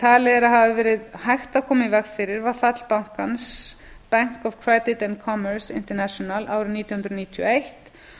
talið er að hefði verið hægt að koma í veg fyrir var fall bankans bank of credit and commerce international árið nítján hundruð níutíu og eitt